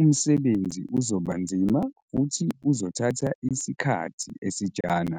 umsebenzi uzoba nzima futhi uzothatha isikhathi esijana.